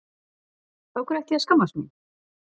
Af hverju ætti ég að skammast mín?